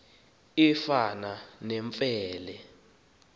efana nemfe le